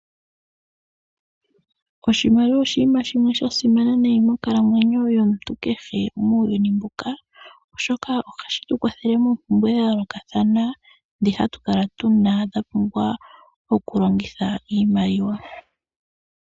Oshimaliwa oshinima shimwe sha simana nayi monkalamwenyo yomuntu kehe muuyuni mbuka, oshoka oha shi tu kwathele moompumbwe dha yoolokathana ndhi ha tu kala tuna dha pumbwa okulongitha iimaliwa.